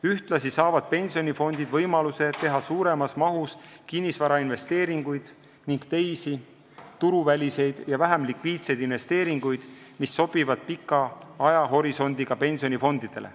Ühtlasi saavad pensionifondid võimaluse teha suuremas mahus kinnisvarainvesteeringuid ning teisi turuväliseid ja vähem likviidseid investeeringuid, mis sobivad pika ajahorisondiga pensionifondidele.